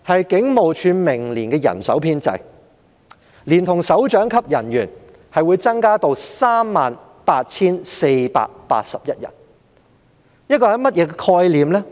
警務處明年的人手編制，連同首長級人員在內會增至 38,481 人。